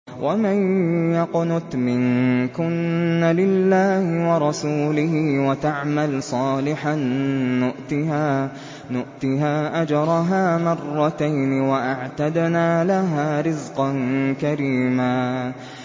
۞ وَمَن يَقْنُتْ مِنكُنَّ لِلَّهِ وَرَسُولِهِ وَتَعْمَلْ صَالِحًا نُّؤْتِهَا أَجْرَهَا مَرَّتَيْنِ وَأَعْتَدْنَا لَهَا رِزْقًا كَرِيمًا